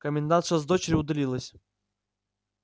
комендантша с дочерью удалились